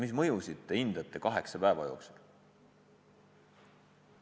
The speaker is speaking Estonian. Mis mõju te hindate kaheksa päeva jooksul?